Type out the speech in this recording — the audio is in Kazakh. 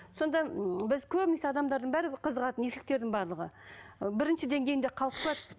сонда ммм біз көбінесе адамдардың бәрібір қызығады еркектің барлығы ы бірінші деңгейінде қалып қояды